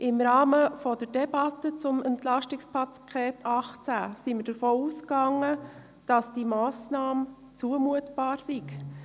Im Rahmen der Debatte zum EP 2018 gingen wir davon aus, dass diese Massnahme zumutbar ist.